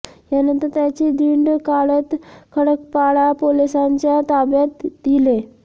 यानंतर त्याची धिंड काढत खडकपाडा पोलिसांच्या ताब्यात दिले